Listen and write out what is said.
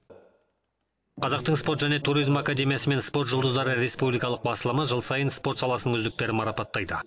қазақтың спорт және туризм академиясы мен спорт жұлдыздары республикалық басылымы жыл сайын спорт саласының үздіктерін марапаттайды